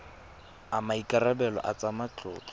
a maikarebelo a tsa matlotlo